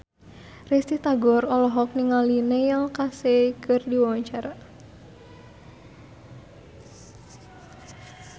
Risty Tagor olohok ningali Neil Casey keur diwawancara